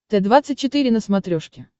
т двадцать четыре на смотрешке